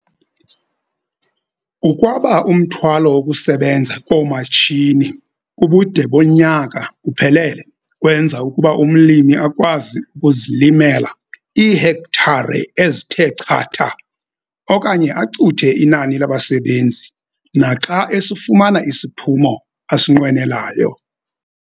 Ukwaba umthwalo wokusebenza koomatshini kubude bonyaka uphelele kwenza ukuba umlimi akwazi ukuzilimela iihektare ezithe chatha okanye acuthe inani labasebenzi naxa esifumana isiphumo asinqwenelayo.